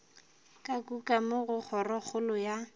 ka kukamo go kgorokgolo ya